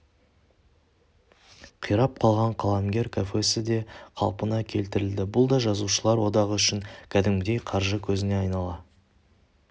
қирап қалған қаламгер кафесі де қалпына келтірілді бұл да жазушылар одағы үшін кәдімгідей қаржы көзіне айнала